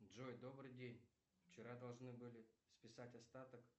джой добрый день вчера должны были списать остаток